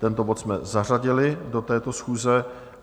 Tento bod jsme zařadili do této schůze.